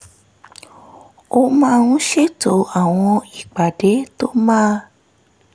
ó máa ń ṣètò àwọn ìpàdé tó máa